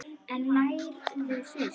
En lærðu fyrst.